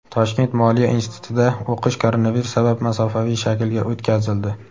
Toshkent moliya institutida o‘qish koronavirus sabab masofaviy shaklga o‘tkazildi.